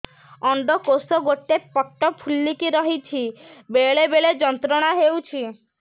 ଅଣ୍ଡକୋଷ ଗୋଟେ ପଟ ଫୁଲିକି ରହଛି ବେଳେ ବେଳେ ଯନ୍ତ୍ରଣା ହେଉଛି